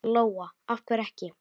Lóa: Af hverju ekki?